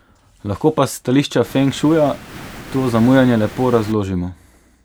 Lahko pa s stališča feng šuia to zamujanje lepo razložimo.